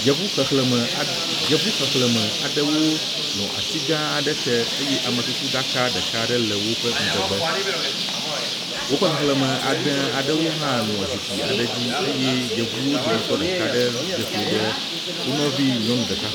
Yevu xexlẽme aɖe yevu xexlẽme aɖewo nɔ ati gã aɖe te eye amekukuɖaka ɖeka aɖe le woƒe ŋgɔgbe, woƒe xexlẽme ade aɖewo hã nɔ zikpi aɖe dzi eye yevuwo dometɔ ɖeka aɖe dze klo ɖe wonɔvi nyɔnu ɖeka.